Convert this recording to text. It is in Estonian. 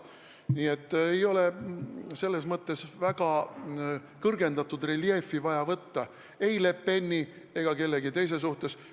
Nii et ei ole vaja võtta väga kõrgendatud reljeefi ei Le Peni ega kellegi teise suhtes.